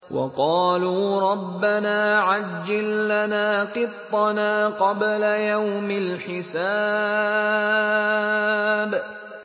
وَقَالُوا رَبَّنَا عَجِّل لَّنَا قِطَّنَا قَبْلَ يَوْمِ الْحِسَابِ